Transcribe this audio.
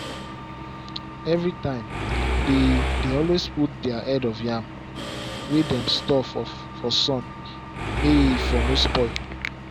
every time dey dey always put their head of yam wey dem store for sun may e for no spoil